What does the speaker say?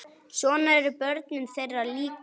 Svona eru börnin þeirra líka.